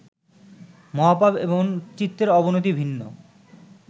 মহাপাপ এবং চিত্তের অবনতি ভিন্ন